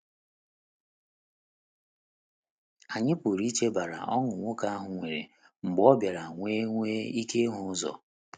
Anyị pụrụ iche banyere ọṅụ nwoke ahụ nwere mgbe ọ bịara nwee nwee ike ịhụ ụzọ.